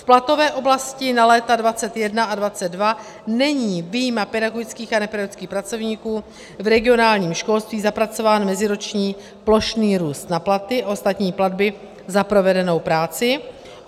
V platové oblasti na léta 2021 a 2022 není vyjma pedagogických a nepedagogických pracovníků v regionálním školství zapracován meziroční plošný růst na platy a ostatní platby za provedenou práci.